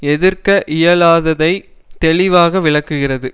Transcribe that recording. எதிர்க்க இயலாததை தெளிவாக விளக்குகிறது